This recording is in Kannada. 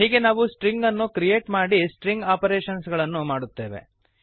ಹೀಗೆ ನಾವು ಸ್ಟ್ರಿಂಗನ್ನು ಕ್ರಿಯೇಟ್ ಮಾಡಿ ಸ್ಟ್ರಿಂಗ್ ಆಪರೇಷನ್ಸ್ ಗಳನ್ನು ಮಾಡುತ್ತೇವೆ